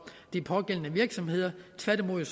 de pågældende virksomheder tværtimod vil